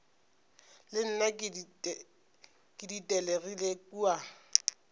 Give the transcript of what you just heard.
le nna ke ditelegile kua